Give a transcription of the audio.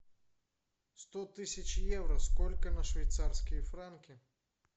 сто тысяч евро сколько на швейцарские франки